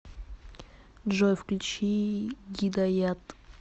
джой включи гидаят